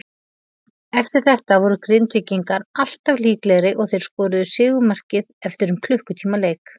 Eftir þetta voru Grindvíkingar alltaf líklegri og þeir skoruðu sigurmarkið eftir um klukkutíma leik.